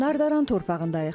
Nardaran torpağındayıq.